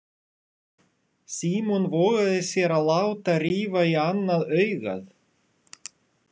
Símon vogaði sér að láta rifa í annað augað.